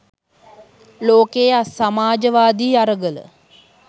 ලෝකයේ සමාජවාදී අරගල